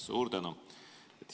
Suur tänu!